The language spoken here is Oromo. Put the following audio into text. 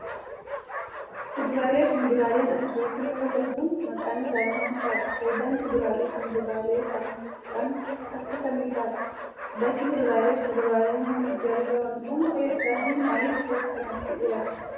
Kuduraalee fi muduraaleen as irratti mul'atan kun, maqaan isaanii maal faadha? Faayidaan kuduraalee fi miduraalee kan kan akka kamii faadha? Bakki kuduraalee fi muduraaleen kun itti argaman kun, eessa fi maalif bakka kanatti dhihaate?